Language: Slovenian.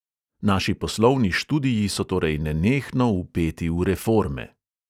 Naši poslovni študiji so torej nenehno vpeti v reforme.